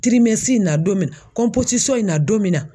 nadon me na in nadon me na